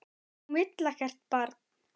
Hún vill ekkert barn.